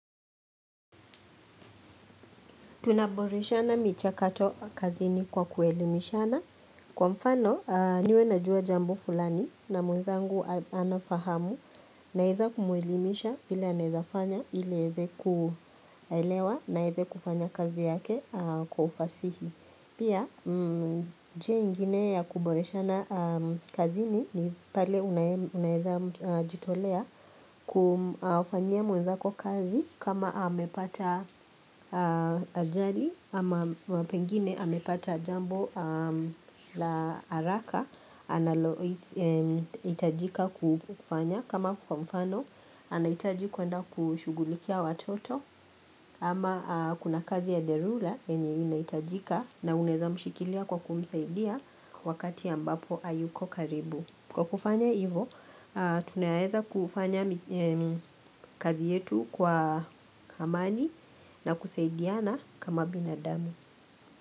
Tunaboreshana michakato kazini kwa kuelimishana. Kwa mfano, niwe najua jambo fulani na mwenzangu anafahamu naweza kumwelimisha vile anaweza fanya ili aweze kulewa na aweze kufanya kazi yake kwa ufasihi. Pia njia nyingine ya kuboreshana kazini ni pale unaweza jitolea kumfanyia mwenzako kazi kama amepata ajali ama pengine amepata jambo la haraka, analohitajika kufanya kama kwa mfano, anahitaji kwenda kushugulikia watoto Ama kuna kazi ya dharura yenye inahitajika na unaweza mshikilia kwa kumsaidia wakati ambapo hayuko karibu. Kwa kufanya hivyo, tunaweza kufanya kazi yetu kwa amani na kusaidiana kama binadamu.